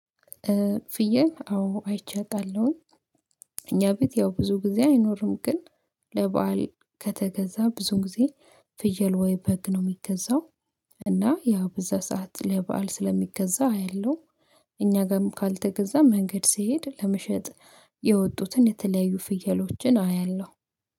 ፍየህ አዎ አይቼ አቃለሁኝ። እኛ ቤት ያው ብዙ ጊዜ አይኖርም ግን ለበአል ከተገዛ ብዙ ጊዜ ፍየል ወይ በግ ነው የሚገዛው። እና ያው በዛ ሰዓት ለበአል ስለሚገዛ አያለሁ። እኛ ጋም ካልተገዛ መንገድ ስሄድ ለመሸጥ የወጡትን የተለያዩ ፍየሎችን አያለሁ።